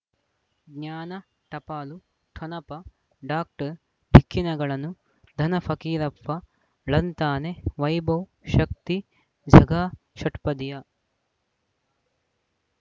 ಜ್ಞಾನ ಟಪಾಲು ಠೊಣಪ ಡಾಕ್ಟರ್ ಢಿಕ್ಕಿ ಣಗಳನು ಧನ ಫಕೀರಪ್ಪ ಳಂತಾನೆ ವೈಭವ್ ಶಕ್ತಿ ಝಗಾ ಷಟ್ಪದಿಯ